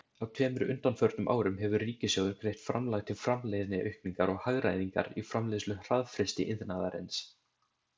Á tveimur undanförnum árum hefur ríkissjóður greitt framlag til framleiðniaukningar og hagræðingar í framleiðslu hraðfrystiiðnaðarins.